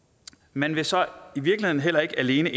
man vil så i virkeligheden heller ikke alene